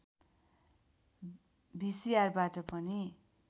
भिसिआरबाट पनि